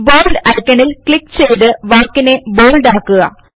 bold ഐക്കണിൽ click ചെയ്തു വാക്കിനെ ബോള്ഡ് ആക്കുക